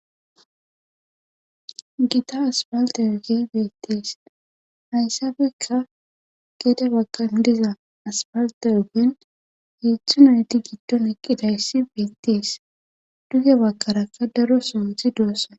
gita asfalte oogey beettes hayssappekka geede baggan diza asfalta oogen heedzdzu nayti giddon ekkidayssi beettes duge bakarakka daro sootti doossan